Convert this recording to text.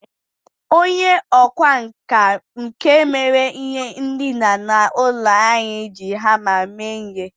Onye ọkwá nkà nke mere ihe ndina n'ụlọ anyị, ji hama mee ihe.